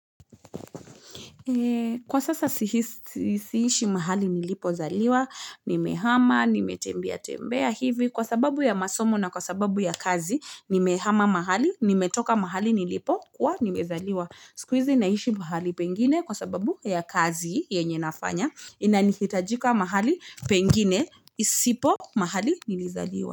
Kwa sasa siishi mahali nilipozaliwa, nimehama, nime tembea tembeya hivi. Kwa sababu ya masomo na kwa sababu ya kazi, nimehama mahali, nime toka mahali nilipokwa, nimezaliwa. Sukuizi naishi mahali pengine kwa sababu ya kazi ya nyenye nafanya. Ina nihitajika mahali pengine, isipo mahali nilizaliwa.